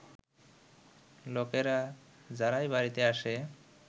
লোকেরা, যারাই বাড়িতে আসে